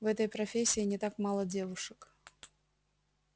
в этой профессии не так мало девушек